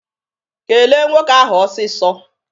Kele nwoke ahụ ọsịsọ!